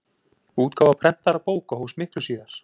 útgáfa prentaðra bóka hófst miklu síðar